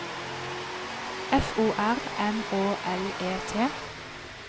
F O R M Å L E T